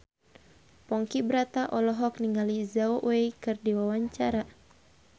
Ponky Brata olohok ningali Zhao Wei keur diwawancara